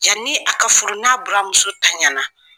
Yani a ka furu n'a buranmuso tanyana